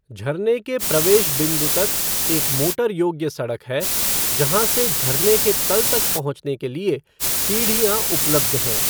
झरने के प्रवेश बिंदु तक एक मोटर योग्य सड़क है, जहाँ से झरने के तल तक पहुँचने के लिए सीढ़ियाँ उपलब्ध हैं।